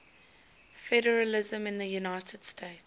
federalism in the united states